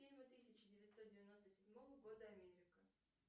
фильмы тысяча девятьсот девяносто седьмого года америка